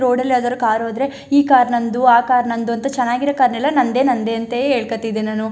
road ಲಿ ಯಾವುದಾದರೂ car ಹೋದ್ರೆ ಈ ಕಾರ್ ನಂದು ಆ ಕಾರ್ ನಂದು ಅಂತ ಚೆನ್ನಾಗಿರೋ ಕಾರ್ ಎಲ್ಲ ನಂದೇ ನಂದೇ ಅಂತ ಹೇಳ್ಕೋತಿದ್ದೆ ನಾನು--